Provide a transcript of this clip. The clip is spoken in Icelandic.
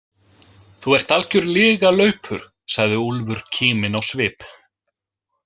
Þú ert algjör lygalaupur, sagði Úlfur kíminn á svip.